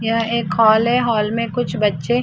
एक हॉल है हॉल में कुछ बच्चे।